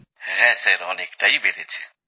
হ্যাঁ স্যার অনেকটাই বেড়েছে